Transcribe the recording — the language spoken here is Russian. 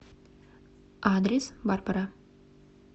адрес барбара